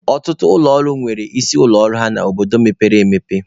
Ọtụtụ ụlọ ọrụ na-enwe isi ụlọ ọrụ ha n'obodo mepere emepe.